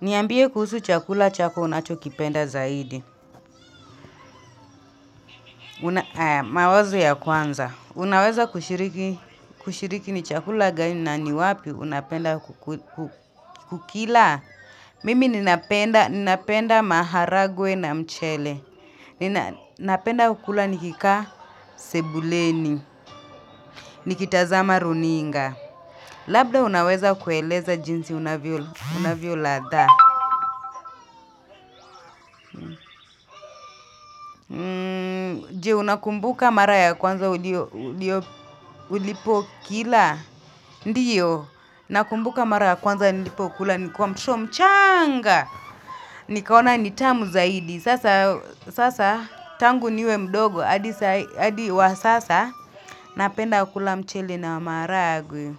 Niambie kuhusu chakula chako unachokipenda zaidi. Mawazo ya kwanza. Unaweza kushiriki ni chakula gani na ni wapi unapenda kukila. Mimi ninapenda maharagwe na mchele. Ninapenda kula nikikaa sebuleni. Nikitazama runinga. Labda unaweza kueleza jinsi unavyo ladha. Je, unakumbuka mara ya kwanza ulipokila, ndiyo, nakumbuka mara ya kwanza nilipokula, nikuwa mtoto mchanga, nikaona ni tamu zaidi, sasa tangu niwe mdogo, adi wa sasa napenda kula mchele na maharagwe.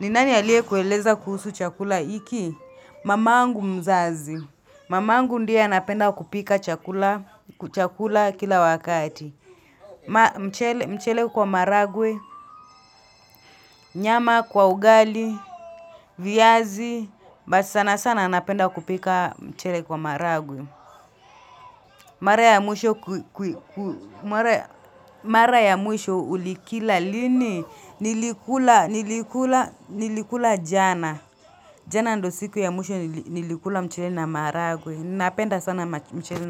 Ni nani aliyekueleza kuhusu chakula hiki, mamangu mzazi, mamangu ndiye anapenda kupika chakula kila wakati. Mchele kwa maharagwe, nyama, kwa ugali, viazi. But sana sana anapenda kupika mchele kwa maharagwe. Mara ya mwisho ulikila lini, nilikula jana. Jana ndo siku ya mwisho nilikula mchele na maharagwe. Napenda sana mchele na maharagwe.